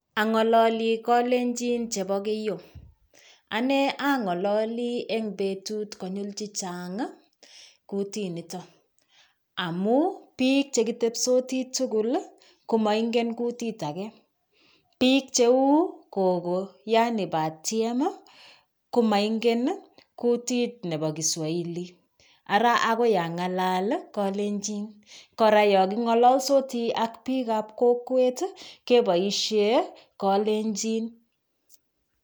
Ang'alali kalenjin chebo keiyo anee ang'alali eng betut konyil chichang kutit nito. Amuu biik che kitepsotii tugul komaingen kutit age. Biik cheu kogo yaani batiem komaingen kutit nebo kiswahili ara agoi ang'alal kalenjin. Kora yakong'alalsotiak biikab kokwet keboishe kalenjin.